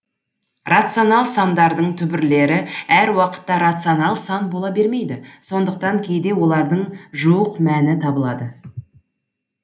рационал сандардың түбірлері әр уақытта рационал сан бола бермейді сондықтан кейде олардың жуық мәні табылады